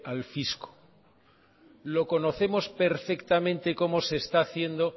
al fisco lo conocemos perfectamente cómo se está haciendo